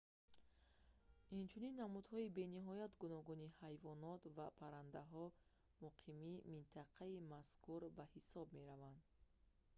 инчунин намудҳои бениҳоят гуногуни ҳайвонот ва паррандаҳо муқими минтақаи мазкур ба ҳисоб мераванд